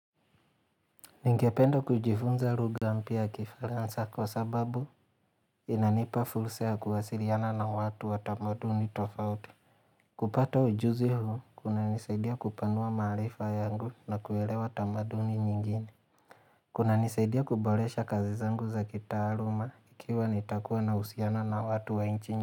Ningependa kujifunza lugha mpya kifaransa kwa sababu inanipa fusa kuwasiliana na watu wa tamaduni tofauti. Kupata ujuzi huu, kuna nisaidia kupanua maharifa yangu na kuelewa tamaduni nyingine. Kunanisaidia kuboresha kazi zangu za kitaaluma ikiwa nitakuwa na uhusiano na watu wangine.